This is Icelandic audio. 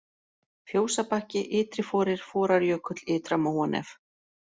Fjósabakki, Ytriforir, Forarjökull, Ytra-Móanef